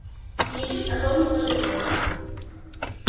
и ничуть о том не пожалею